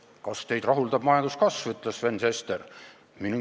"Kas teid rahuldab majanduskasv?" küsis Sven Sester.